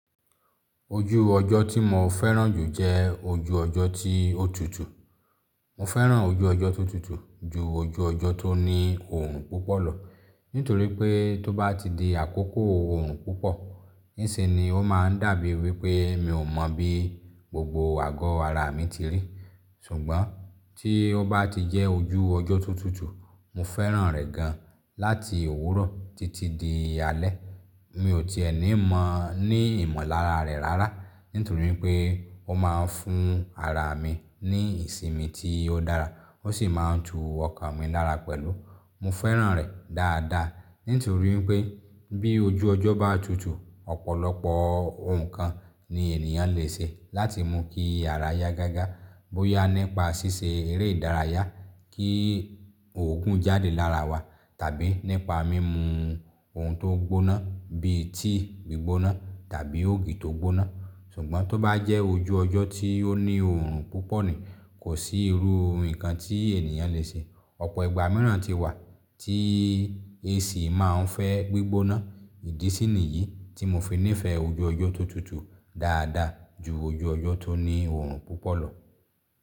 Ojú ọjọ́ tí mo fẹ́ràn jù jẹ́ ojú ọjọ́ tí ó tutù. Mo fẹ́ràn ojú ọjọ́ tó tutù ju ojú ọjọ́ tó ní òòrùn púpọ̀ lọ. Nítorí pé tó bá ti di àkókò òòrùn púpọ̀, níṣe ni ó máa ń dàbí wí pé mi ò mọ̀ bí gbogbo àgọ́ ara mi ti rí. Ṣùgbọ́n tí ó bá ti jẹ́ ojú ọjọ́ tó tutù, mo fẹ́ràn rẹ̀ gan láti òwúrọ̀ títí di alẹ́. Mi ò ti èní mọ ní ìmọ̀lára rẹ̀ rárá, nítorí pé ó máa ń fún ara mi ní ìsinmi tí ó dára, ó sì máa ń tu ọkàn mi lára pẹ̀lú. Mo fẹ́ràn rẹ̀ dáadáa, nítorí pé bí ojú ọjọ́ bá tutù, ọ̀pọ̀lọpọ̀ ohun kan ni ènìyàn le ṣe láti mú kí ara yá gágá. Bóyá nípa ṣíṣe eré ìdárayá, kí òògùn jáde lára wa, tàbí nípa mímu ohun tó gbóná bíi tíì gbígbóná tàbí ògì tó gbóná. Ṣùgbọ́n tó bá jẹ́ ojú ọjọ́ tí ó ní òòrùn púpọ̀ ni, kò sí irú ohun kan tí ènìyàn le ṣe. Ọ̀pọ̀ ìgbà mìíràn ti wà tí AC máa ń fẹ́ gbígbóná. Ìdí sí ní yìí tí mo fi nífẹ̀ẹ́ ojú ọjọ́ tó tutù dáadáa ju ojú ọjọ́ tó ní òòrùn púpọ̀ lọ.